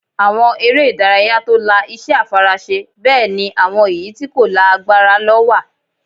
Àwọn eré ìdárayá tó la iṣẹ́ àfaraṣe bẹ́ẹ̀ ni àwọn èyí tí kò la agbára lọ wà